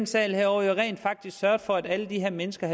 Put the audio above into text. salen jo rent faktisk havde sørget for at alle de her mennesker